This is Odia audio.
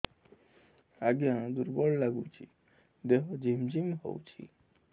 ଆଜ୍ଞା ଦୁର୍ବଳ ଲାଗୁଚି ଦେହ ଝିମଝିମ ହଉଛି